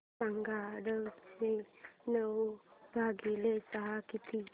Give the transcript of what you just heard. सांगा आठशे नऊ भागीले सहा किती